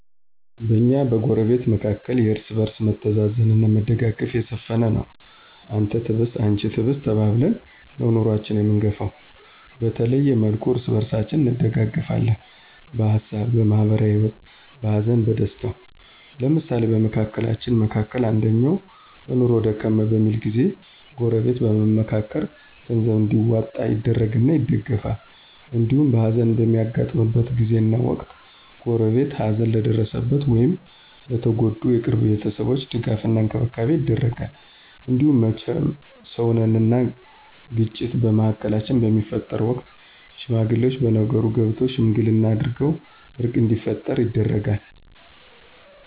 በእኛና በጎረቤት መካከል የእርስ በርስ መተዛዘን አና መደጋገፍ የሰፈነ ነው። አንተ ትብስ አንቺ ትብሽ ተባብለን ነው ኑኖአችን አምንገፈው። በተለያየ መልኩ እርስ በርሳችን እንደጋገፍለን በሀሳብ፣ በማህበራዊ ሂወት፣ በሀዘን በደስታው። ለምሳሌ በመካከላችን መካከል አንደኛው በኑኖው ደከም በሚልበት ጊዜ ጎረበት በመምካከር ገንዘብ እንዲዋጣ ይደረግና ይደገፍል። እንዲሁም ሀዘን በሚያጋጥምበት ጊዜና ወቅት ጎረቤት ሀዘን ለደረሰበት ወይም ለተጎዱ የቅርብ ቤተሰቦች ድጋፍ እና እንክብካቤ ይደረጋል። እንዲሁም መቸም ሰውነን አና ግጭት በመሀላችን በሚፈጠርበት ወቅት ሽማግሌወች በነገሩ ገብተው ሽምግልና አድርገው እርቅ እንዲፈጠር ይደረጋል።